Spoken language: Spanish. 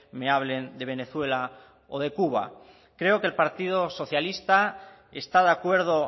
me hablen de venezuela o de cuba creo que el partido socialista está de acuerdo